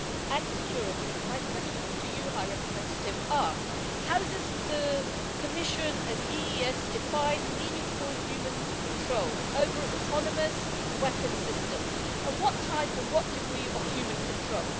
and security, my questions to the High Representative are how does the Commission and the EEAS define meaningful human control' over autonomous weapons systems, and what type and what degree of human control?